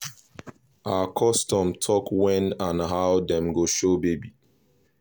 our custom talk wen and how dem go show baby